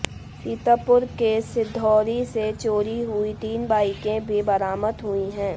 सीतापुर के सिंधौरी से चोरी हुईं तीन बाइकें भी बरामद हुईं हैं